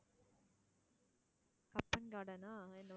Cubbon garden ஆ என்னவோ,